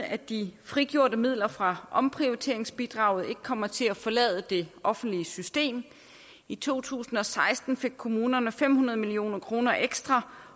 at de frigjorte midler fra omprioriteringsbidraget ikke kommer til at forlade det offentlige system i to tusind og seksten fik kommunerne fem hundrede million kroner ekstra